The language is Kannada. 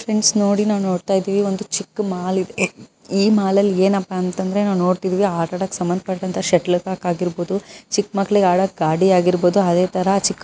ಫ್ರೆಂಡ್ಸ್ ನಾನು ನೋಡ್ತಾ ಇದ್ವಿ ನೋಡಿ ಇದು ಚಿಕ್ಕ ಮಾಲು ಈ ಮಾಲಲ್ಲಿ ಏನಪ್ಪಾ ಅಂದ್ರೆ ನಾವು ನೋಡ್ತಾ ಇದ್ದೀವಿ ಆಟ ಆಡೋಕ್ ಸಂಬಂಧ ಪಟ್ಟಂತಹ ಶಟಲ್ ಕಾಕ್ ಆಗಿರಬಹುದು ಚಿಕ್ಕ ಮಕ್ಕಳಿಗೆ ಆಡಕ್ ಗಾಡಿ ಆಗಿರಬಹುದು ಅದೇ ತರ ಚಿಕ್ --